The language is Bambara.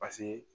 Paseke